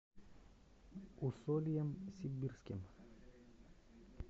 усольем сибирским